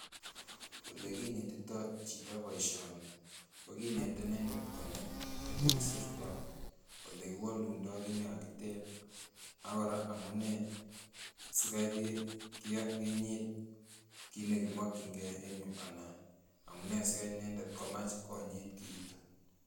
Olekinetito chito boishoni kokinete inendet konai olekisirto olekiwolundo kiit nekakiteb ak kora amunee sikai kinyiit kiit nekimokying'e en yuu anan amunee sikaii inendet komach konyiit kiiton